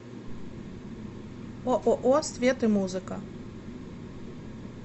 ооо свет и музыка